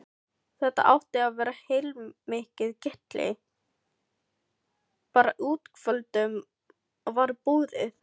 Þetta átti að vera heilmikið gilli, bara útvöldum var boðið.